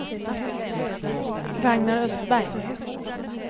Ragnar Östberg